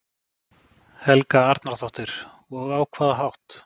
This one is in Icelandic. Helga Arnardóttir: Og á hvaða hátt?